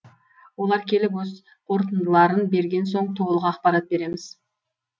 олар келіп өз қорытындыларын берген соң толық ақпарат береміз